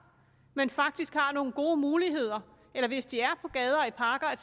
men faktisk har nogle gode muligheder eller hvis de er på gader og i parker at